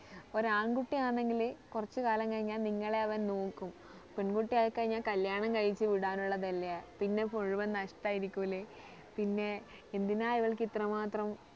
ഒരാൺകുട്ടി ആണെങ്കില് കുറച്ച് കാലം കഴിഞ്ഞാൽ നിങ്ങളെ അവൻ നോക്കും പെൺകുട്ടി ആയി കഴിഞ്ഞാൽ കല്യാണം കഴിച്ച് വിടാൻ ഉള്ളതല്ലേ പിന്നെ മുഴുവൻ നഷ്ട്ടം ആയിരിക്കൂലേ പിന്നെ എന്തിനാ ഇവൾക്ക് ഇത്ര മാത്രം